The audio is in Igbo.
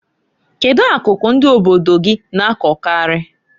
Kedu akụkụ ndi obodo gi na-akọkarị?